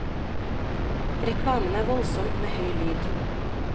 Reklamen er voldsom med høy lyd.